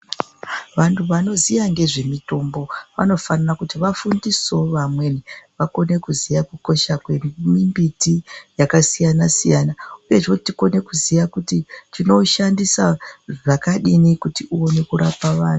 Vantu vanoziya ngezve mutombo vanofanira kuti vafundisewo vamweni vakone kuziva kukosha kwemumbiti yakasiyana -siyana . Uyezve tikone kuziya kuti tinoushandisa zvakadini kuti uone kurapa vantu.